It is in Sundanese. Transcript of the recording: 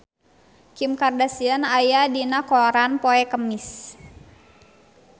Kim Kardashian aya dina koran poe Kemis